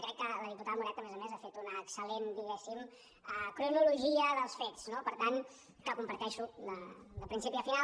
i crec que la diputada moreta a més a més ha fet una excel·lent cronologia dels fets no que comparteixo de principi a final